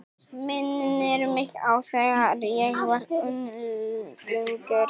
Minnir mig á þegar ég var unglingur.